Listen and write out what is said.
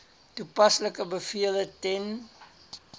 toepaslike bevele ten